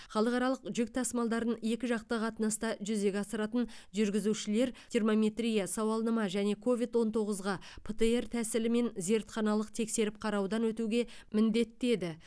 халықаралық жүк тасымалдарын екіжақты қатынаста жүзеге асыратын жүргізушілер термометрия сауалнама және ковид он тоғызға птр тәсілімен зертханалық тексеріп қараудан өтуге міндетті еді